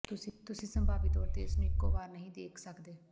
ਤੁਸੀਂ ਸੰਭਾਵੀ ਤੌਰ ਤੇ ਇਸ ਨੂੰ ਇੱਕੋ ਵਾਰ ਨਹੀਂ ਦੇਖ ਸਕਦੇ